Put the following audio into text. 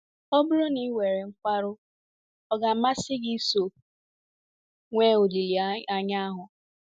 Ọ bụrụ na i nwere nkwarụ, ọ̀ ga - amasị gị iso nwee olileanya ahụ?